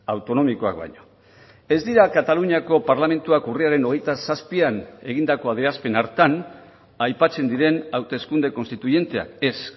autonomikoak baino ez dira kataluniako parlamentuak urriaren hogeita zazpian egindako adierazpen hartan aipatzen diren hauteskunde konstituienteak ez